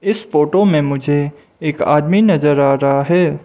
इस फोटो मे मुझे एक आदमी नजर आ रहा है।